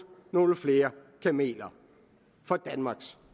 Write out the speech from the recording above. nogle flere kameler for danmarks